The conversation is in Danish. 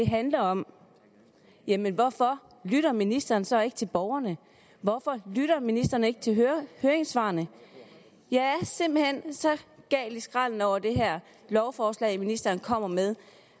handler om jamen hvorfor lytter ministeren så ikke til borgerne hvorfor lytter ministeren ikke til høringssvarene jeg er simpelt hen så gal i skralden over det her lovforslag ministeren kommer med